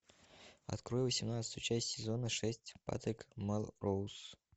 открой восемнадцатую часть сезона шесть патрик мелроуз